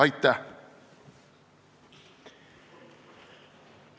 Aitäh!